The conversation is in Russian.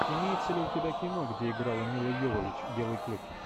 имеется ли у тебя кино где играла мила йовович белый клык